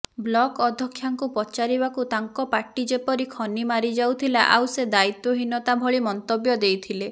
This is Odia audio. ବ୍ଳକ୍ ଅଧକ୍ଷାଙ୍କୁ ପଚାରିବାକୁ ତାଙ୍କ ପାଟି ଯେପରି ଖନି ମାରଯାଉଥିଲା ଆଉ ସେ ଦାୟିତ୍ବହୀନତା ଭଳି ମନ୍ତବ୍ୟ ଦେଇଥିଲେ